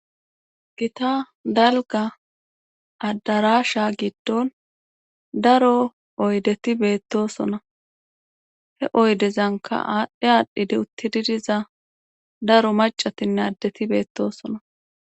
Gita dalga addarasha giddon daro oydeti beettosona he oydezanka aadhdhe aadhdhidi uttididiza daro macatinne addeti beettosona